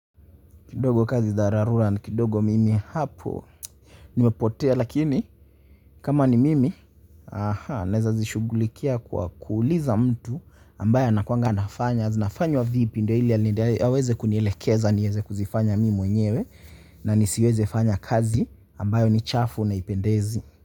Kidogo kazi za dharura ni kidogo mimi hapo. Nimepotea lakini kama ni mimi aha, nawezazishugulikia kwa kuuliza mtu ambaye anakuanga anafanya, zinafanywa vipi ndo ili aweze kunielekeza, niweze kuzifanya mimi mwenyewe na nisiweze fanya kazi ambayo ni chafu na ipendezi.